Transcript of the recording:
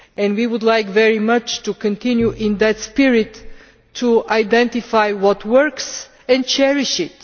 We would very much like to continue in that spirit to identify what works and cherish it.